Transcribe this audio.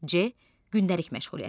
C gündəlik məşğuliyyəti.